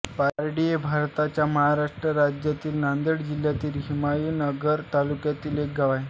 पारडी हे भारताच्या महाराष्ट्र राज्यातील नांदेड जिल्ह्यातील हिमायतनगर तालुक्यातील एक गाव आहे